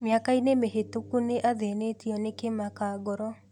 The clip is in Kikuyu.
Mĩaka-inĩ mĩhĩtũku nĩ athĩnĩtio nĩ kĩmaka ngoro